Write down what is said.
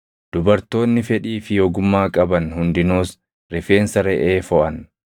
Dubartoonni fedhii fi ogummaa qaban hundinuus rifeensa reʼee foʼan.